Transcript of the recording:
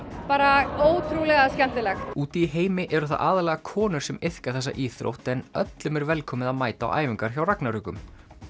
bara ótrúlega skemmtilegt úti í heimi eru það aðallega konur sem iðka þessa íþrótt en öllum er velkomið að mæta á æfingar hjá ragnarökum